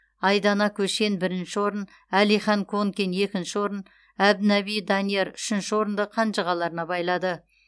айдана көшен бірінші орын алихан конкин екінші орын әбдінаби данияр үшінші орынды қанжығаларына байлады